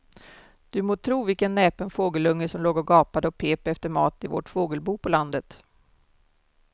Du må tro vilken näpen fågelunge som låg och gapade och pep efter mat i vårt fågelbo på landet.